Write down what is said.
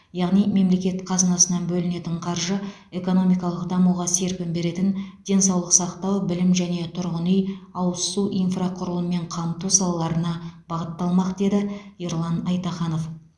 яғни мемлекет қазынасынан бөлінетін қаржы экономикалық дамуға серпін беретін денсаулық сақтау білім және тұрғын үй ауыз су инфрақұрылыммен қамту салаларына бағытталмақ деді ерлан айтаханов